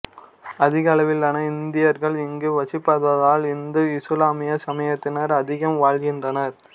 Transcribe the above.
அதிகளவிலான இந்தியர்கள் இங்கு வசிப்பாதால் இந்து இசுலாமிய சமயத்தினர் அதிகம் வாழ்கின்றனர்